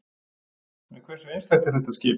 En hversu einstakt er þetta skip?